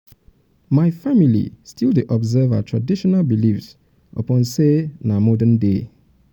um my family still dey observe um our traditional beliefs upon sey na modern-day.